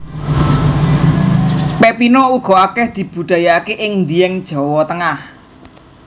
Pepino uga akeh dibudidayaake ing Dieng Jawa Tengah